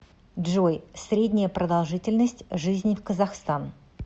джой средняя продолжительность жизни в казахстан